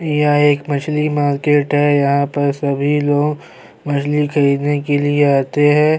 یہ ہے ایک مچھلی مارکیٹ ہے یہاں پر سبھی لوگ مچھلی خریدنے کے لیے اتے ہیں-